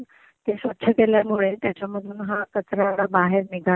ते स्वच्छ केल्यामुळे त्याच्यामधून हा कचरा बाहेर निघाला